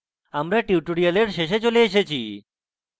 আমরা tutorial শেষে চলে এসেছি